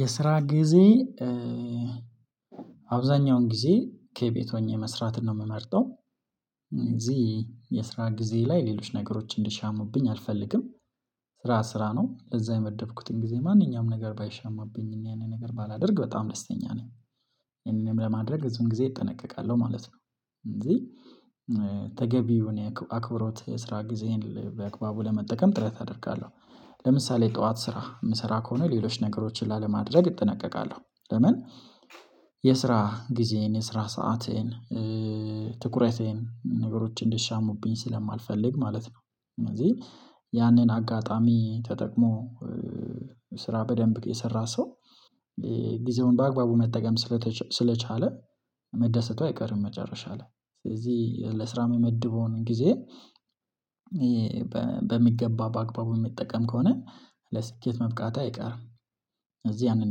የስራ ጊዜ አብዛኛውን ጊዜ ከቤት ሆኜ መስራትን ነው የምመርጠው። እዚህ የስራ ጊዜ ላይ ሌሎች ነገሮች እንዲሻሙብኝ አልፈልግም። ስራ ስራ ነው ለዛ የመደብኩትን ጊዜ ማንኛውም ነገር ባይሸማብኝ ያኔ ነገር ባላደርግ በጣም ደስተኛ ነኝ እንደኔም ለማድረግ ብዙን ጊዜ እጠነቀቃለሁ ማለት ነው። እንደዚህ። ተገቢውን የአክብሮት የስራ ጊዜን በአግባቡ ለመጠቀም ጥረት አደርጋለሁ። ለምሳሌ ጠዋት ስራ የምሰራ ከሆነ ሌሎች ነገሮችን ላለማድረግ እጠነቀቃለሁ ለምን? የስራ ጊዜን የስራ ሰዓትን ትኩረቴን ነገሮችን እንዲሻሙብኝ ስለማልፈልግ ማለት ነው። ስለዚህ ያንን አጋጣሚ ተጠቅሞ ስራ በደንብ የሰራ ሰው ጊዜውን በአግባቡ መጠቀም ስለቻለ መደሰቱ አይቀርም። መጨረሻ ላይ ስለዚህ ለስራ የምመድበውን ጊዜ። በሚገባ በአግባቡ የሚጠቀም ከሆነ ለስኬት መብቃት አይቀርም። እዚህ ያንን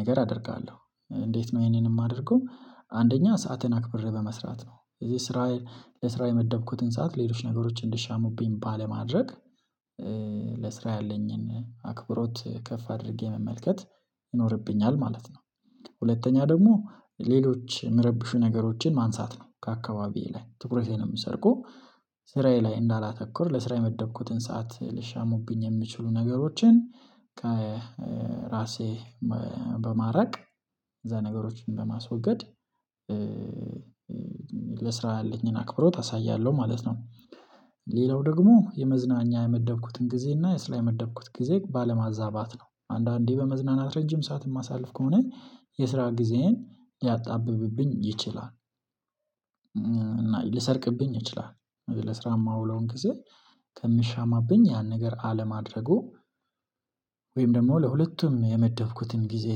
ነገር አደርጋለሁ። እንዴት ነው ይሄንንም የማደርገው አንደኛ ሰዓትን አክብሬ በመስራት ነው። እዚህ ስራ ለስራ የመደብኩትን ሰዓት ሌሎች ነገሮች እንዲሻሙብኝ ባለማድረግ። ለስራ ያለኝን አክብሮት ከፍ አድርጌ መመልከት ይኖርብኛል ማለት ነው። ሁለተኛ ደግሞ ሌሎች የሚረብሹ ነገሮችን ማንሳት ነው ከአካባቢዬ ላይ ትኩረቴን ነው የሚሰርቁ። ስራዬ ላይ እንዳላተኩር ለስራ የመደብኩትን ሰዓት ሊሻሙብኝ የሚችሉ ነገሮችን ከራሴ በማራቅ እነዛ ነገሮችን በማስወገድ። ለስራ ያለኝን አክብሮት አሳያለሁ ማለት ነው። ሌላው ደግሞ የመዝናኛ የመደብኩትን ጊዜ እና የስራ የመደብኩት ጊዜ ባለማዛባት ነው። አንዳንዴ በመዝናናት ረጅም ሰዓት የማሳልፍ ከሆነ የስራ ጊዜን ሊያጣብብብኝ ይችላል። እና ሊሰርቅብኝ ይችላል። ለስራ ማውለውን ጊዜ ከሚሻማብኝ ያን ነገር አለማድረጉ ወይም ደግሞ ለሁለቱም የመደብኩትን ጊዜ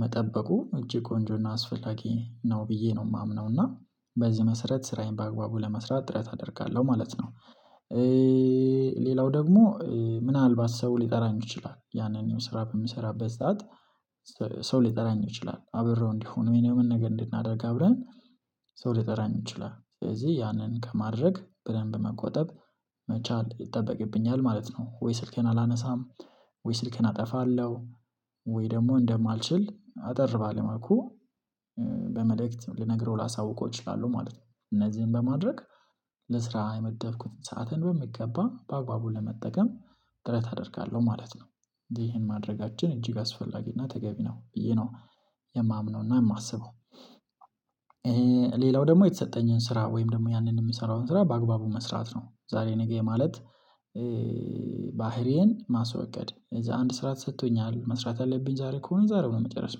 መጠበቁ እጅግ ቆንጆና አስፈላጊ ነው። ብዬ ነው የማምነው እና በዚህ መሰረት ስራዬን በአግባቡ ለመስራት ጥረት አደርጋለሁ ማለት ነው። ሌላው ደግሞ ምናልባት ሰው ሊጠራኝ ይችላል ያንን ስራ በምሰራበት ሰዓት። ሰው ሊጠራኝ ይችላል አብረው እንዲሆኑ ወይ ደግሞ ነገር እንድናደርግ አብረን ሰው ሊጠራኝ ይችላል። ስለዚህ ያንን ከማድረግ በደንብ መቆጠብ መቻል ይጠበቅብኛል ማለት ነው። ወይ ስልኬን አላነሳም። ወይ ስልኬን አጠፋለሁ። ወይ ደግሞ እንደማልችል አጠር ባለ መልኩ በመልእክት ልነግረው ላሳውቀው እችላለሁ ማለት ነው። እነዚህን በማድረግ። ለስራ የመደብኩትን ሰዓትን በሚገባ በአግባቡ ለመጠቀም ጥረት አደርጋለሁ ማለት ነው። እንጂ ይሄን ማድረጋችን እጅግ አስፈላጊና ተገቢ ነው ብዬ ነው የማምነውና የማስበው። ሌላው ደግሞ የተሰጠኝን ስራ ወይም ደግሞ ያንን የምሰራውን ስራ በአግባቡ መስራት ነው ዛሬ ነገ ማለት። ባህሪዬን ማስወገድ እዛ አንድ ስራ ተሰጥቶኛል መስራት አለብኝ ዛሬ ከሆነ ዛሬ ነው መጨረስ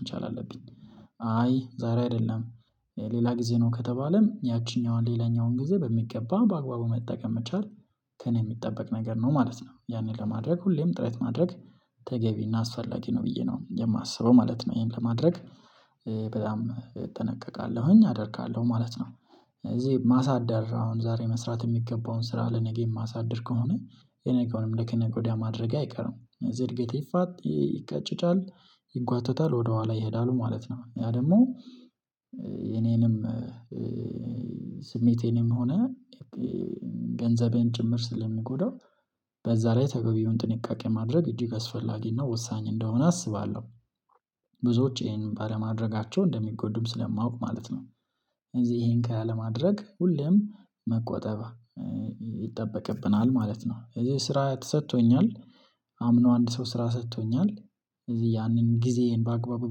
መቻል አለብኝ። አይ ዛሬ አይደለም። ሌላ ጊዜ ነው ከተባለም ያችኛዋን ሌላኛውን ጊዜ በሚገባ በአግባቡ መጠቀም መቻል። ከእኔ የሚጠበቅ ነገር ነው ማለት ነው ያንን ለማድረግ ሁሌም ጥረት ማድረግ ተገቢና አስፈላጊ ነው ብዬ ነው የማስበው ማለት ነው። ይሄን ከማድረግ በጣም እጠነቀቃለሁኝ አደርጋለሁ ማለት ነው። እዚህ ማሳደር አሁን ዛሬ መስራት የሚገባውን ስራ ለነገ የማሳደር ከሆነ የነገውንም ለከ ነገ ወዲያ ማድረጌ አይቀርም ስለዚህ እድገቴ ይፋጥ ይቀጭጫል ይጓተታል ወደኋላ ይሄዳል ማለት ነው። ያ ደግሞ የኔንም ስሜቴንም ሆነ ገንዘቤን ጭምር ስለሚጎዳው በዛ ላይ ተገቢውን ጥንቃቄ ማድረግ እጅግ አስፈላጊና ወሳኝ እንደሆነ አስባለሁ። ብዙዎች ይሄንን ባለማድረጋቸው እንደሚጎዱም ስለማውቅ ማለት ነው። እዚህ ይሄን ከላይ ለማድረግ ሁሌም መቆጠብ ይጠበቅብናል ማለት ነው። ስራ ተሰጥቶኛል። አምኖ አንድ ሰው ስራ ሰጥቶኛል። ስለዚህ ያንን ጊዜዬን በአግባቡ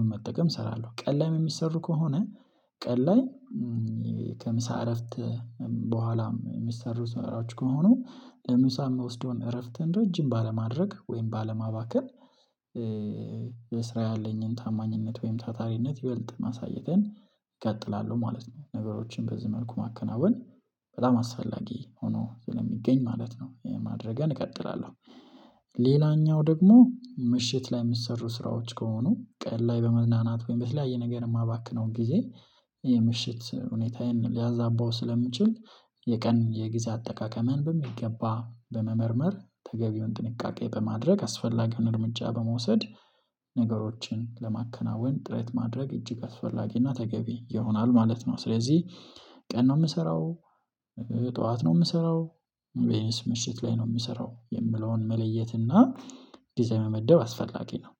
በመጠቀም እሰራለሁ። ቀን ላይ የሚሰሩ ከሆነ ቀን ላይ ከምሳ እረፍት በኋላም የሚሰሩ ስራዎች ከሆኑ ለምሳ የምወስደውን እረፍት ረጅም ባለማድረግ ወይም ባለማባከን። ለስራ ያለኝን ታማኝነት ወይም ታታሪነት ይበልጥ ማሳየትን እቀጥላለሁ ማለት ነው። ነገሮችን በዚህ መልኩ ማከናወን በጣም አስፈላጊ ሆኖ ስለሚገኝ ማለት ነው ማድረጌን እቀጥላለሁ። ሌላኛው ደግሞ ምሽት ላይ የሚሰሩ ስራዎች ከሆኑ ቀን ላይ በመዝናናት ወይም በተለያየ ነገር የማባክነው ጊዜ የምሽት ሁኔታዬን ሊያዛባው ስለሚችል የቀን የጊዜ አጠቃቀምን በሚገባ በመመርመር ተገቢውን ጥንቃቄ በማድረግ አስፈላጊውን እርምጃ በመውሰድ። ነገሮችን ለማከናወን ጥረት ማድረግ እጅግ አስፈላጊና ተገቢ ይሆናል ማለት ነው። ስለዚህ ቀን ነው የምሰራው። ጠዋት ነው የምሰራው። ቢያንስ ምሽት ላይ ነው የምሰራው የምለውን መለየት እና ዲዛይን መመደብ አስፈላጊ ነው።